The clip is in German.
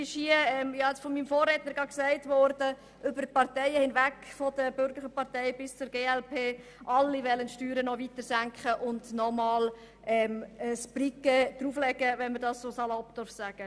» Eine ganze Anzahl Parteien bis hin zur glp will die Steuern weiter senken und nochmals ein Brikett drauflegen, um es salopp auszudrücken.